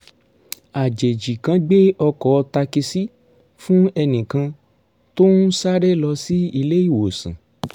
àjèjì kan gbé ọkọ̀ takisí fún ẹnì kan tó ń sáré lọ sí ilé ìwòsàn